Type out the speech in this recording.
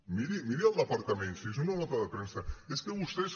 miri miri el departament és una nota de premsa és que vostès